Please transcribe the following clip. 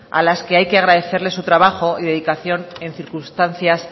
a las que hay que agradecerles el trabajo y dedicación en circunstancias